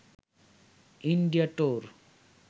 India tour